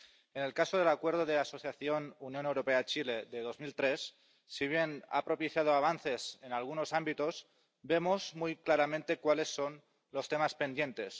En el caso del Acuerdo de Asociación Unión Europea Chile de 2003, si bien ha propiciado avances en algunos ámbitos, vemos muy claramente cuáles son los temas pendientes.